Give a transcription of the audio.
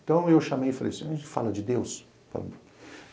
Então eu chamei e falei assim, a gente fala de Deus?